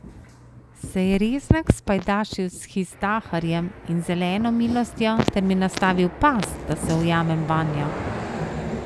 Se je Reznak spajdašil s Hizdahrjem in Zeleno milostjo ter mi nastavil past, da se ujamem vanjo?